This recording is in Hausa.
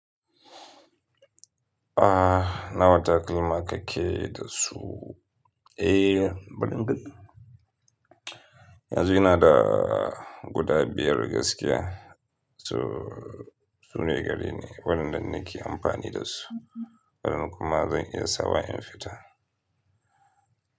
Ah, na wata kalma ka ke da su? Eh, bari in ga. Yanzu ina da guda biyar gaskiya. So, su ne gare ni. Waɗannan na ke amfani da su. Waɗannan kuma zan iya sawa in fita.